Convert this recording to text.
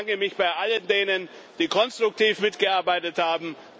Ich bedanke mich bei all jenen, die konstruktiv mitgearbeitet haben.